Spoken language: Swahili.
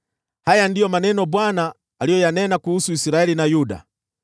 Haya ndiyo maneno Bwana aliyoyanena kuhusu Israeli na Yuda: